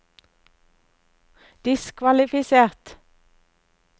diskvalifisert